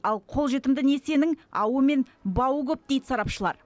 ал қолжетімді несиенің ауы мен бауы көп дейді сарапшылар